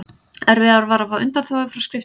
Erfiðara var að fá undanþágu frá skriftum.